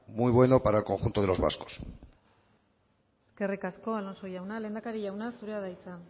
muy bueno para el conjunto de los vascos eskerrik asko alonso jauna lehendakari jauna zurea da hitza